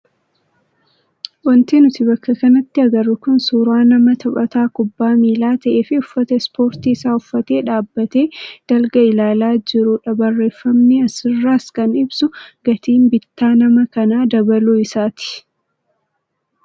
Wanti nuti bakka kanatti agarru kun suuraa nama taphataa kubbaa miilaa ta'ee fi uffata ispoortii isaa uffatee dhaabbatee dalga ilaalaa jirudha Barreeffamni asirraas kan ibsu gatiin bittaa nama kanaa dabaluu isaati.